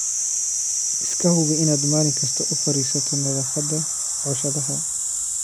Iska hubi inaad maalin kasta u fiirsato nadaafadda cooshadaha.